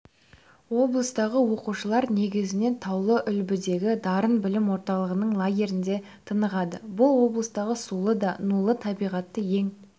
облыстағы оқушылар негізінен таулы-үлбідегі дарын білім орталығының лагерінде тынығады бұл облыстағы сулы да нулы табиғаты ең